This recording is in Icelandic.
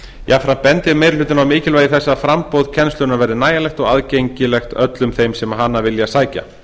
jafnframt bendir meiri hlutinn á mikilvægi þess að framboð kennslunnar verði nægjanlegt og aðgengilegt öllum þeim sem hana vilji sækja